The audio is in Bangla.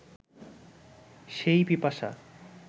সেই পিপাসা